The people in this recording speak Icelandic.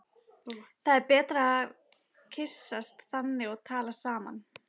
Það er betra að kyssast þannig og tala saman.